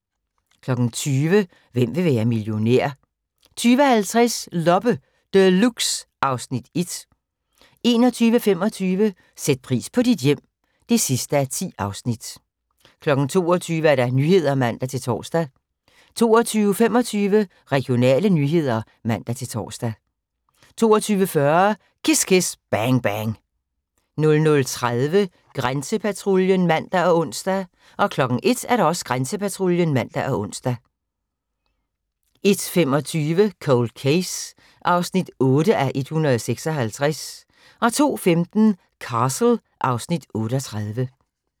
20:00: Hvem vil være millionær? 20:50: Loppe Deluxe (Afs. 1) 21:25: Sæt pris på dit hjem (10:10) 22:00: Nyhederne (man-tor) 22:25: Regionale nyheder (man-tor) 22:40: Kiss Kiss Bang Bang 00:30: Grænsepatruljen (man og ons) 01:00: Grænsepatruljen (man og ons) 01:25: Cold Case (8:156) 02:15: Castle (Afs. 38)